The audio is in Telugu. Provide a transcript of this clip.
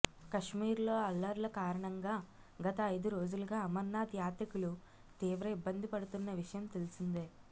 కశ్మీర్లో అల్లర్ల కారణంగా గత ఐదు రోజులుగా అమర్నాథ్ యాత్రికులు తీవ్ర ఇబ్బంది పడుతున్న విషయం తెలిసిందే